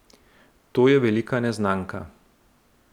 To je velika neznanka.